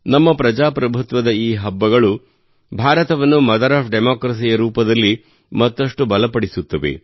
ನಮ್ಮ ಪ್ರಜಾಪ್ರಭುತ್ವದ ಈ ಹಬ್ಬಗಳು ಭಾರತವನ್ನು ಮದರ್ ಒಎಫ್ ಡೆಮೊಕ್ರಸಿ ಯ ರೂಪದಲ್ಲಿ ಮತ್ತಷ್ಟು ಬಲಪಡಿಸುತ್ತವೆ